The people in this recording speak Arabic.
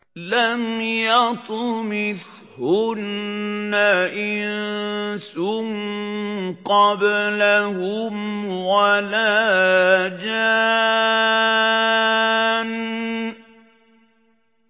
لَمْ يَطْمِثْهُنَّ إِنسٌ قَبْلَهُمْ وَلَا جَانٌّ